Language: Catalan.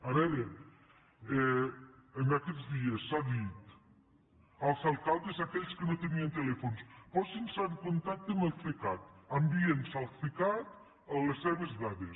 a veure aquests dies s’ha dit als alcaldes aquells que no en tenien telèfons posinse en contacte amb el cecat enviïnnos al cecat les seves dades